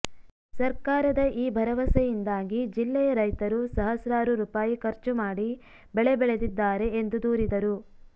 ಸರ್ಕಾರದ ಈ ಭರವಸೆಯಿಂದಾಗಿ ಜಿಲ್ಲೆಯ ರೈತರು ಸಹಸ್ರಾರು ರೂಪಾಯಿ ಖರ್ಚು ಮಾಡಿ ಬೆಳೆ ಬೆಳೆದಿದ್ದಾರೆ ಎಂದು ದೂರಿದರು